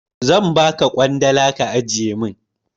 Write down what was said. Zan ba ka ƙwandala ka ajiye min.